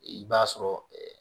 I b'a sɔrɔ